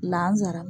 La nsaara